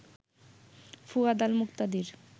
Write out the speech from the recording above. Fuad Al Muktadir